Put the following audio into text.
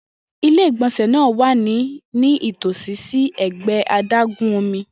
Ile-igbọnsẹ naa wa nitosi si ẹgbẹ adágún omi.